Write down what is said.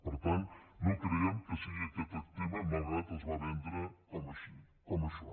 per tant no creiem que sigui aquest tema malgrat que es va ven·dre com això